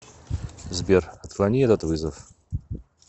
сбер отклони этот вызов